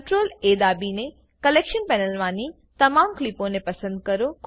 CRTLA દાબીને collection પેનલમાની તમામ ક્લીપોને પસંદ કરો